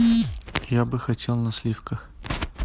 я бы хотел на сливках